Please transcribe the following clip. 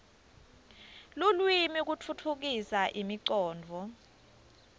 lulwimi kutfutfukisa imicondvo